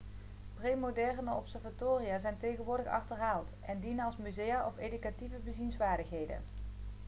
premoderne observatoria zijn tegenwoordig achterhaald en dienen als musea of educatieve bezienswaardigheden